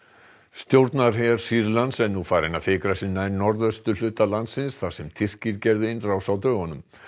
stjórnarher Sýrlands er nú farinn að fikra sig nær norðausturhluta landsins þar sem Tyrkir gerðu innrás á dögunum